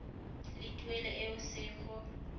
le tuelo e o se